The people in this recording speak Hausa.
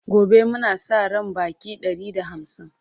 gobe Muna Sa ran Baƙi Ɗari da hamsin